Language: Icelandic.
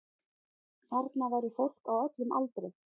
Þarna væri fólk á öllum aldri